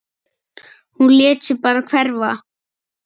Hún lét sig bara hverfa.